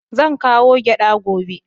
Zan kawo gyada gobe.